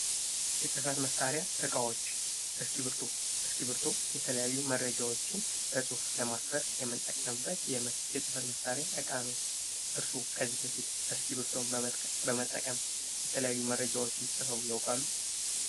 የጽህፈት መሳሪያ እቃዎች፤ እስኪብርቶ፤ እስኪብርቶ የተለያዩ መረጃዎችን በጽሁፍ ለማስፈር የምንጠቀምበት የጽህፈት መሳሪያ እቃ ነው። እርሶ ከዚህ በፊት እስኪብርቶን በመጠቀም የተለያዩ መረጃዎችን ጽፈው ያውቃሉ?